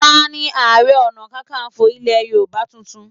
Tani Ààrẹ Ọ̀nàkakanfò ilẹ̀ Yorùbá tuntun?